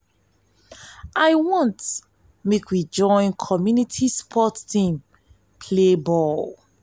i wan make we join community sport team play ball.